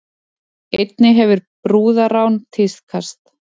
Einnig hefur brúðarrán tíðkast